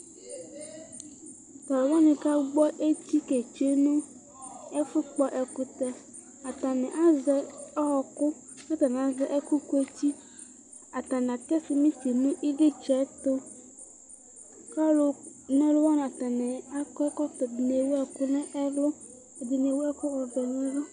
Talʋ wani kagbɔ eti ketsue nʋ ɛfʋ kpɔ ɛkʋtɛvatani azɛ ɔkʋ kʋ atani azɛ ɛkʋ kueti atani atɛ simiti nʋ ilitsɛtʋ kʋ alʋ na ɔlʋ wani akɔ ɛkɔtɔ ɛdini ewʋ ɛkʋ nʋ ɛlʋ kʋ ɛdini ewʋ ɔvɛ